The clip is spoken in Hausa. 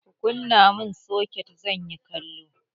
Kunna mun soket!zanyi kallo.